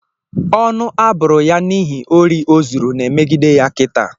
Ọnụ aburu ya nighi ori ozuru na emegide ya kita.